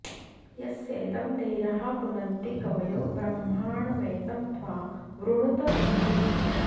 यस्येदं धीराः पुनन्ति कवयो ब्रह्माणमेतं त्वा वृणुत इन्दुम्